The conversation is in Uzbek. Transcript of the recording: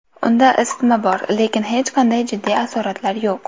Unda isitma bor, lekin hech qanday jiddiy asoratlar yo‘q.